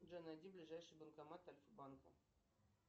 джой найди ближайший банкомат альфа банка